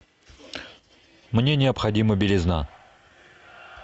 мне необходима белизна